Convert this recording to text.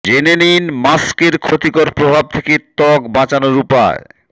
জেনে নিন মাস্কের ক্ষতিকর প্রভাব থেকে ত্বক বাঁচানোর উপায়